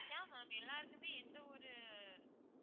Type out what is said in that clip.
yeah ma'am எல்லாருக்குமே எந்தவொரு